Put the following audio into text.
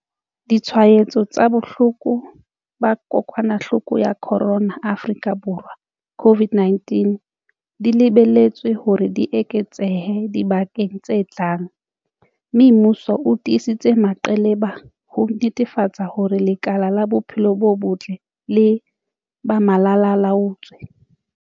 Ditshwaetso tsa bohloko ba kokwanahloko ya corona Afrika Borwa COVID-19 di lebelletswe hore di eketsehe dibekeng tse tlang, mme mmuso o tiisitse meqheleba ho netefatsa hore lekala la bophelo bo botle le ba malalaa-laotswe.